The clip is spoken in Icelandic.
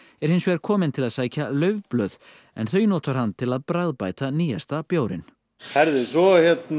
er hins vegar kominn til að sækja laufblöð en þau notar hann til að bragðbæta nýjasta bjórinn svo